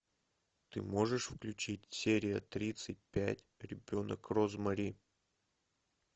ты можешь включить серия тридцать пять ребенок розмари